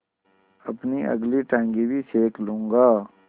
अपनी अगली टाँगें भी सेक लूँगा